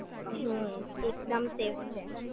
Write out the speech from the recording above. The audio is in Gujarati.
હમ્મ એકદમ સેફ છે